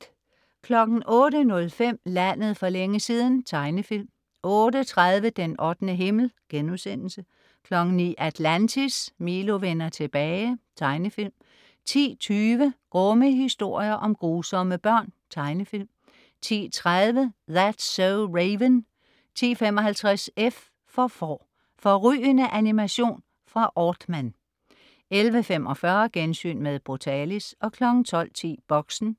08.05 Landet for længe siden. Tegnefilm 08.30 Den 8. himmel* 09.00 Atlantis: Milo vender tilbage. Tegnefilm 10.20 Grumme historier om grusomme børn. Tegnefilm 10.30 That's so Raven 10.55 F for Får. Fårrygende animation fra Aardman 11.45 Gensyn med Brutalis 12.10 Boxen